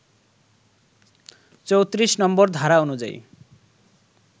৩৪ নম্বর ধারা অনুযায়ী